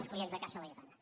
els clients de caixa laietana